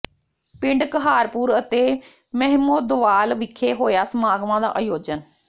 ਪਿੰਡ ਕਹਾਰਪੁਰ ਅਤੇ ਮਹਿਮਦੋਵਾਲ ਵਿਖੇ ਹੋਇਆ ਸਮਾਗਮਾਂ ਦਾ ਆਯੋਜਨ